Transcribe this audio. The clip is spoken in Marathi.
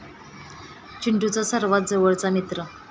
चिंटूचा सर्वात जवळचा मित्र.